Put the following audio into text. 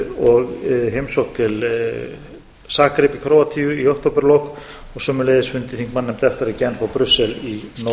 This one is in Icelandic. og heimsókn til zagreb í króatíu í októberlok og sömuleiðis þingmannanefndar efta í genf og brussel í